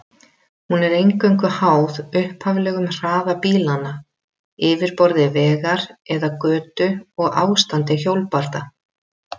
Hún er eingöngu háð upphaflegum hraða bílanna, yfirborði vegar eða götu og ástandi hjólbarða.